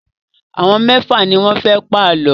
Àwọn mẹ́fà ni wọ́n fẹ́ pa àlọ́.